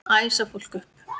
Æsa fólk upp?